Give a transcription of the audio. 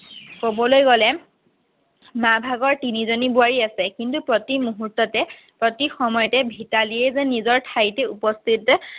ক'বলৈ গ'লে মা ভাগৰ তিনি জনী বোৱাৰী আছে কিন্তু প্ৰতি মুহূৰ্ততে প্ৰতি সময়তে ভিতালীয়ে যে নিজৰ ঠাইতে উপস্থিত যে